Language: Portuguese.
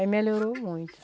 Aí melhorou muito.